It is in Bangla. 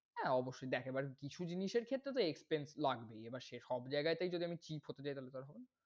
হ্যাঁ অবশ্যই তো একেবারে কিছু জিনিসের ক্ষেত্রে তো expense লাগবেই। এবার সে সব জায়গাতেই যদি আমি cheap হতে যাই তাহলে তো আর হবে না।